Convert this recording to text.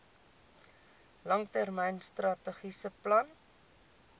langtermyn strategiese plan